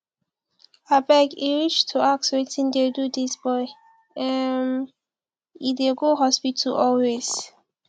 abeg e reach to ask wetin dey do dis boy um e dey go hospital always